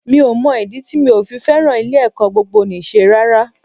Mi ò mọ ìdí tí mi ò fi fẹ́ràn ilé-ẹ̀kọ́ gbogboníṣe rárá